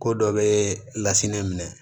Ko dɔ bɛ lasinɛ minɛ